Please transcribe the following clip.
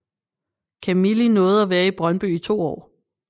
Camili nåede at være I Brøndby i to år